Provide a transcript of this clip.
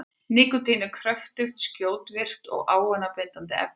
Nikótín er kröftugt, skjótvirkt og ávanabindandi efni.